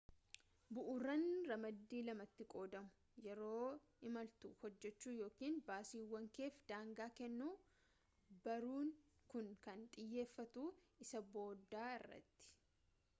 bu'uuraan ramaddii lamatti qoodamu yeroo imaltuu hojjachuu yookiin baasiiwwan keef daangaa kennuu barruun kun kan xiyyeffatu isa boodaa irratti